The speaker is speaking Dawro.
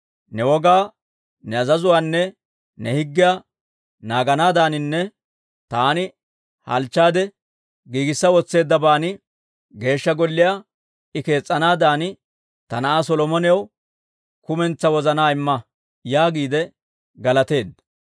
Ne wogaa, ne azazuwaanne ne higgiyaa naaganaadaaninne taani halchchaade giigissa wotseeddaban Geeshsha Golliyaa I kees's'anaadan ta na'aa Solomonaw kumentsaa wozanaa imma» yaagiide galateedda.